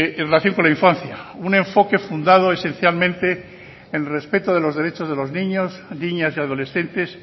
en relación con la infancia un enfoque fundado esencialmente en respeto de los derechos de los niños niñas y adolescentes